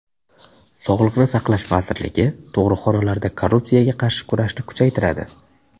Sog‘liqni saqlash vazirligi tug‘ruqxonalarda korrupsiyaga qarshi kurashni kuchaytiradi.